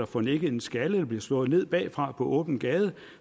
får nikket en skalle eller bliver slået ned bagfra på åben gade